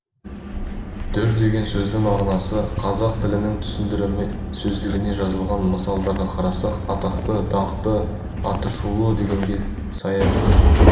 дүр деген сөздің мағынасы қазақ тілінің түсіндірме сөздігінде жазылған мысалдарға қарасақ атақты даңқты аты шулы дегенге саяды